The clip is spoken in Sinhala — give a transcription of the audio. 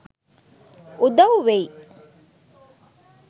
උදව් වෙයි.